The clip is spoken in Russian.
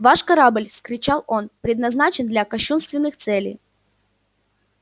ваш корабль вскричал он предназначен для кощунственных целей